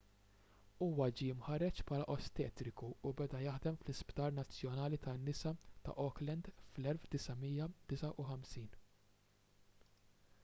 huwa ġie mħarreġ bħala ostetriku u beda jaħdem fl-isptar nazzjonali tan-nisa ta' auckland fl-1959